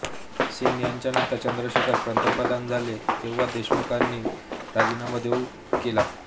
सिंग यांच्यानंतर चंदशेखर पंतप्रधान झाले तेव्हा देशमुखांनी राजीनामा देऊ केला